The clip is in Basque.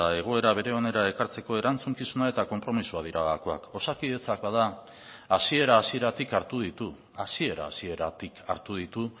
egoera bere onera ekartzeko erantzukizuna eta konpromisoa dira gakoak osakidetza hasieratik hartu ditu